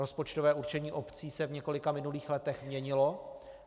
Rozpočtové určení obcí se v několika minulých letech měnilo.